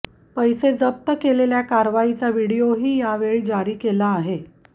पैसे जप्त केलेल्या कारवाईचा व्हिडीओही यावेळी जारी केला आहे